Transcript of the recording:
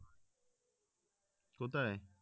কোথায়?